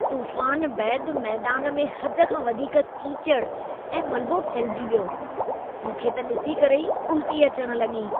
तूफ़ान बैदि मैदान में हद खां वधीक कीचड़ ऐं मलबो फहिलिजी वियो। मूंखे त ॾिसी करे ई उल्टी अचण लॻी।